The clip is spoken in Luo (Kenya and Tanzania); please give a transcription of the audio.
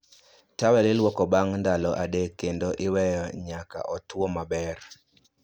Tawel ilwoko bang' ndalo adek kendo iweyo manyaka otwo maber